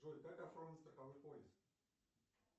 джой как оформить страховой полис